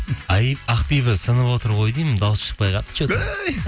ай ақбибі сынып отыр ғой деймін дауысы шықпай қалыпты че то